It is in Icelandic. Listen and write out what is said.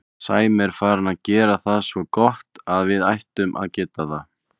Sæmi er farinn að gera það svo gott að við ættum að geta það.